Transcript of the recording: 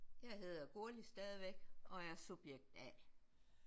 Jeg hedder Gurli stadigvæk og er subjekt A